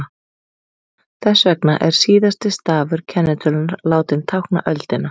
þess vegna er síðasti stafur kennitölunnar látinn tákna öldina